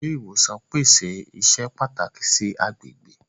Awọn ile-iwosan pese iṣẹ pataki si agbegbe.